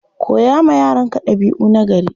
Koya wa yaranka ɗabi'u nagari.